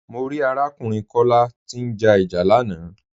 Mọ̀ rí arákùnrin Kọla tí n já ìjà lànà.